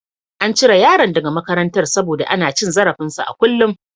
An cire yaron daga makarantar saboda ana cin zarafinsa a kullun.